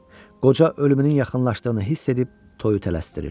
Qoca ölümünün yaxınlaşdığını hiss edib toyu tələsdirir.